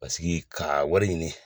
Pasiki ka wari ɲini